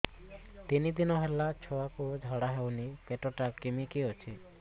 ତିନି ଦିନ ହେଲା ଛୁଆକୁ ଝାଡ଼ା ହଉନି ପେଟ ଟା କିମି କି ଅଛି